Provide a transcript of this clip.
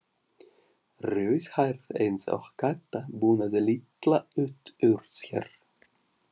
Rauðhærð eins og Kata, bunaði Lilla út úr sér.